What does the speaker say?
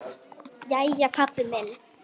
Jæja, pabbi minn.